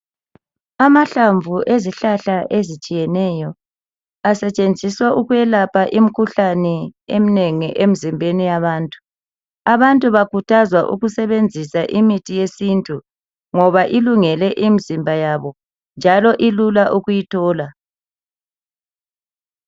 Amahlamvu ezihlahla ezitshiyeneyo, asetshenziswa ukwelapha imkhuhlane emnengi emzimbeni yabantu. Abantu bakhuthazwa ukusebenzisa imithi yesintu ngoba ilungele imzimba yabo njalo ilula ukuyithola.